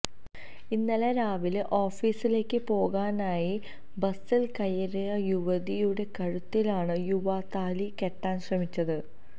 ഇന്നലെ രാവിലെ ഓഫീസിലേക്ക് പോകാനായി ബസിൽ കയറിയ യുവതിയുടെ കഴുത്തിലാണ് യുവാവ്താലി കെട്ടാന് ശ്രമിച്ചത്